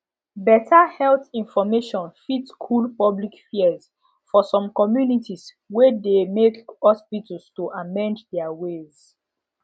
better health information fit cool public fears for some communities wey de make hospitals to amend their ways